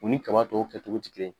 U ni kaba tɔw kɛ cogo ti kelen ye.